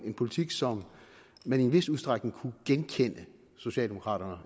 en politik som man i en vis udstrækning ville kunne genkende socialdemokraterne og